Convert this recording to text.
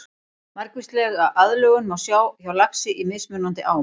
Margvíslega aðlögun má sjá hjá laxi í mismunandi ám.